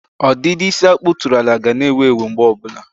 ọdịdị isi a kpụtụrụ ala ga na-ewu ewu mgbe ọbụla.